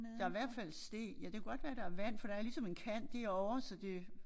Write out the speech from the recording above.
Der hvert fald sten ja det kunne godt være der vand for der er ligesom en kant derovre så det